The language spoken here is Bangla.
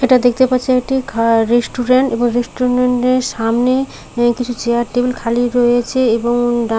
এটা দেখতে পাচ্ছি এটি খা- রেস্টুরেন্ট এবং রেস্টুরেন্ট এর সামনে কিছু চেয়ার টেবিল খালি রয়েছে এবং ডা--